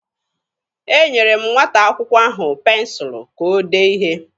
Enyere m nwata akwụkwọ ahụ pensụlụ ka o dee ihe.